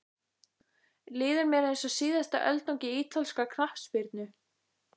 Líður mér eins og síðasta öldungi ítalskrar knattspyrnu?